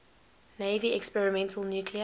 navy experimental nuclear